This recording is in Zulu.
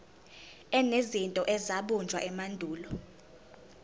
enezinto ezabunjwa emandulo